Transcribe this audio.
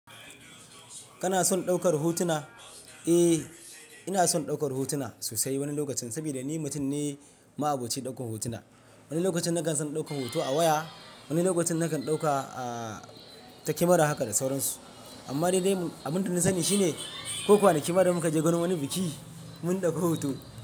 Kana son ɗaukar hotuna? Eh, ina son ɗaukar hotuna sosai wani lokacin, saboda ni mutum ne ma'aboci ɗaukar hotuna. Wani lokacin na kan son ɗaukar hoto a waya, wani lokacin nakan ɗauka, ah, ta camera haka da sauransu. Amma dai abinda nasani shi ne, ko kwana ki ma da muka je gorin wani biki, mun ɗauki hoto.